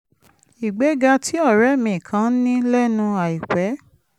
ìgbéga tí ọ̀rẹ́ mi kan ní lẹ́nu àìpẹ́